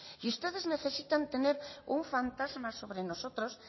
y ustedes necesitan tener un fantasma sobre nosotros